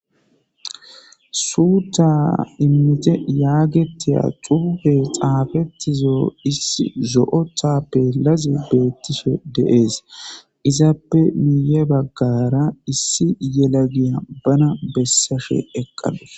suutta immite yaagetiya xuufe xaafettizo issi zo7o taa pelazi beettiso deees izappe miiye baggara issi yelagiya bana bessashe eqqanos